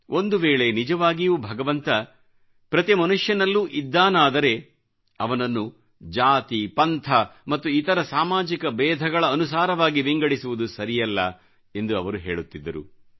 ಒಂದುವೇಳೆ ನಿಜವಾಗಿಯೂ ಭಗವಂತ ಪ್ರತೀ ಮನುಷ್ಯನಲ್ಲೂ ಇದ್ದಾನಾದರೆ ಅವನನ್ನು ಜಾತಿಪಂಥ ಮತ್ತು ಇತರ ಸಾಮಾಜಿಕ ಬೇಧಗಳ ಅನುಸಾರವಾಗಿ ವಿಂಗಡಿಸುವುದು ಸರಿಯಲ್ಲ ಎಂದು ಅವರು ಹೇಳುತ್ತಿದ್ದರು